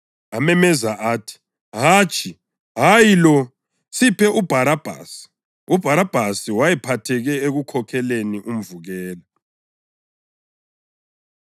Amemeza athi, “Hatshi, hayi lo! Siphe uBharabhasi!” UBharabhasi wayephatheke ekukhokheleni umvukela.